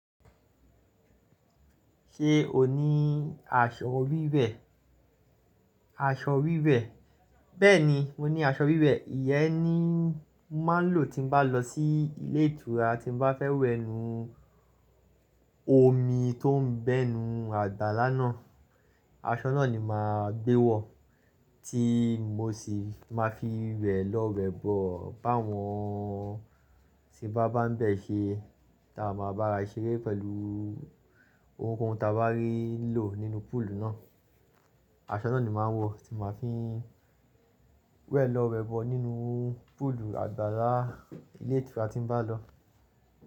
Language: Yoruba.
Ṣé o ní aṣọ wíwẹ̀? Aṣọ wíwẹ̀, bẹ́ẹ̀ni mo ní aṣọ wíwẹ̀. Ìyẹ́ ni mo máa ń lò tí bá lọ sí ilé ìtura tí mo bá fẹ́ wẹ ninu omi tóún bẹnu àgbàlá náà. Aṣọ náà ni màá gbé wọ̀ tí mo sì máa fi wẹ̀ lọ wẹ̀ bọ̀ bá wọn ti bá bámbẹ̀ ṣe táa ma bá ra ṣeré pẹ̀lú ohunkóhun ta bá rí lò nínú púúlù náà. Aṣọ náà ni màá wọ̀ tí màá fi ń wẹ̀ lọ wẹ̀ bọ̀ nínú púúlù àgbàlá ilé ìtura tí mo bá lọ.